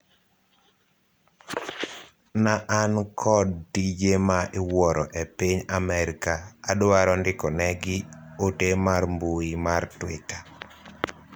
na an kod tije ma iwuoro e piny Amerika adwaro ndikonegi ote mar mbui mar twita